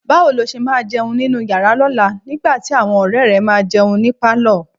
Báwo ló ṣe máa jẹun nínú yàrá lọ́la nígbà tí àwọn ọ̀rẹ́ẹ̀ rẹ máa jẹun ní pálọ̀?